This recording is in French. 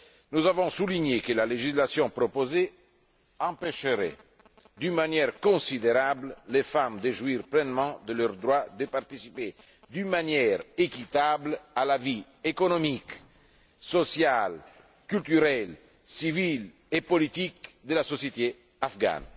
Nous avons souligné que la législation proposée empêcherait d'une manière considérable les femmes de jouir pleinement de leurs droits de participer d'une manière équitable à la vie économique, sociale, culturelle, civile et politique de la société afghane.